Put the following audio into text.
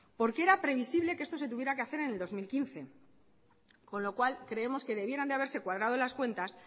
porque era previsible que esto se tuviera que hacer en el dos mil quince con lo cual creemos que debieran de haberse cuadrado las cuentas